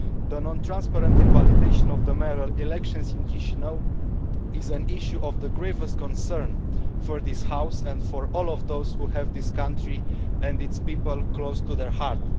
The non transparent invalidation of the mayoral elections in Chișinău is an issue of the gravest concern for this House and for all of those who have this country and its people close to their heart.